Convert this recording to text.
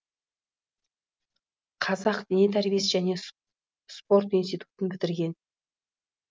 қазақ дене тәрбиесі және спорт институтын бітірген